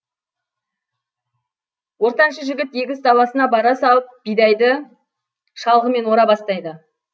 ортаншы жігіт егіс даласына бара салып бидайды шалғымен ора бастайды